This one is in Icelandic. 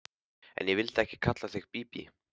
En ég vildi ekki kalla þig Bíbí.